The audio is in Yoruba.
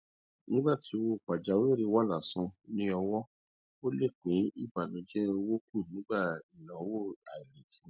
nígbà tí owó pajawìrì wà lásán ní ọwọ ó lè dín ìbànújẹ owó kù nígbà ináwó àìretí